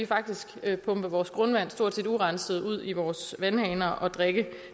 faktisk kan pumpe vores grundvand stort set urenset ud i vores vandhaner og drikke